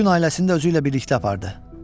Bütün ailəsini də özü ilə birlikdə apardı.